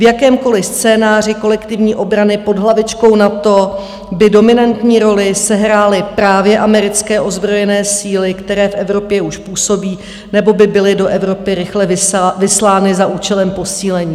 V jakémkoli scénáři kolektivní obrany pod hlavičkou NATO by dominantní roli sehrály právě americké ozbrojené síly, které v Evropě už působí nebo by byly do Evropy rychle vyslány za účelem posílení.